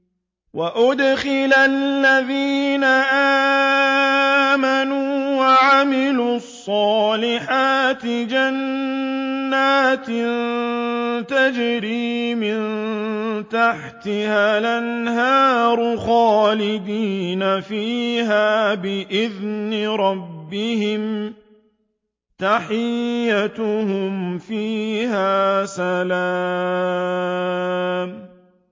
وَأُدْخِلَ الَّذِينَ آمَنُوا وَعَمِلُوا الصَّالِحَاتِ جَنَّاتٍ تَجْرِي مِن تَحْتِهَا الْأَنْهَارُ خَالِدِينَ فِيهَا بِإِذْنِ رَبِّهِمْ ۖ تَحِيَّتُهُمْ فِيهَا سَلَامٌ